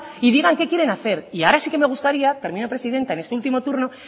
y digan qué quieren hacer y ahora sí que me gustaría termino presidenta en este último turno